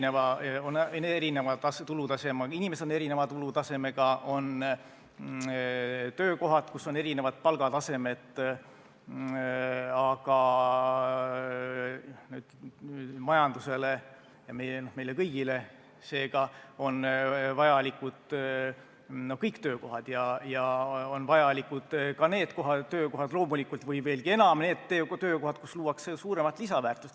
Jaa, on ju erinevad tulutasemed, inimesed on erineva tulutasemega, töökohtadel on erinevad palgatasemed, aga majandusele ja meile kõigile seega on vajalikud kõik töökohad ja veelgi enam vajalikud on need töökohad, kus luuakse suuremat lisandväärtust.